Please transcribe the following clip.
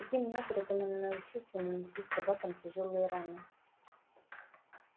таким образом он научился наносить собакам тяжёлые раны